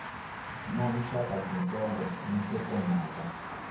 na vuxaka byitsongo ni nhlokomhaka